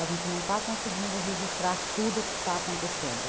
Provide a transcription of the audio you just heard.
A gente não está conseguindo registrar tudo o que está acontecendo.